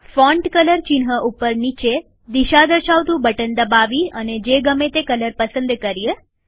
font colour ચિહ્ન ઉપર નીચે દિશા દર્શાવતું બટન દબાવી અને જે ગમે તે રંગ પસંદ કરીએ